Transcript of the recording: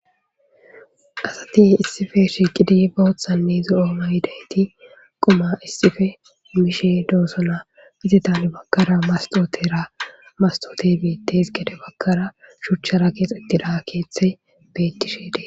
Asati issippe shiqidi bothanne zo,o mayidayiti quma issippe mishe dosona izata hini bagara mastotera mastote betes gede bagara shuchara kexetida kethayi betishe dee's